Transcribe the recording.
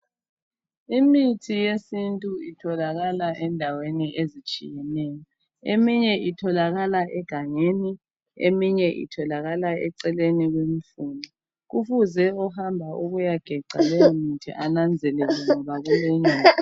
Imithi yesintu itholakala endaweni ezitshiyeneyo. Eminye itholakala egangeni eminye itholakala eceleni kwendlela. Ohamba ukuyogebha leyomuntu mele ananzelele ngoba kulenyoka.